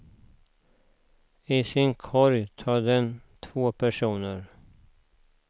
I sin korg tar den två personer.